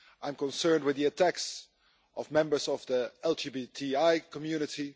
I'm concerned with the attacks on members of the LGBTI community